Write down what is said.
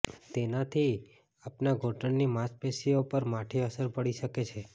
તેનાથી આપનાં ઘુંટણની માંસપેશીઓ પર માઠી અસર પડી શકે છે